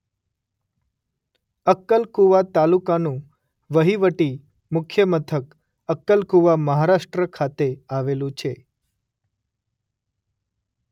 અક્કલકુવા તાલુકાનું વહીવટી મુખ્ય મથક અક્કલકુવા મહારાષ્ટ્ર ખાતે આવેલું છે.